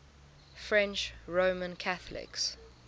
french roman catholics